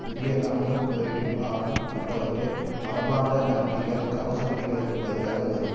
புதிய இராணுவ போரிடும் வாகனம் போன்றவை மரபார்ந்த டாங்கிகள் கவச வண்டிகளுக்குப் பதிலாக வரும்